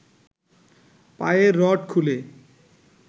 পায়ের রড খুলে